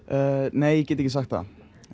nei ég get ekki sagt það